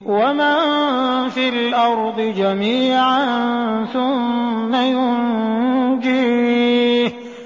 وَمَن فِي الْأَرْضِ جَمِيعًا ثُمَّ يُنجِيهِ